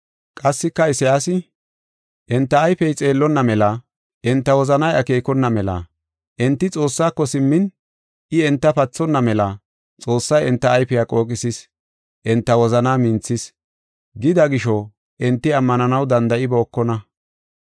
Qassika Isayaasi, “Enta ayfey xeellonna mela, enta wozanay akeekona mela, enti Xoossaako simmin, I enta pathonna mela, Xoossay enta ayfiya qooqisis. Enta wozanaa minthis” gida gisho enti ammananaw danda7ibookona.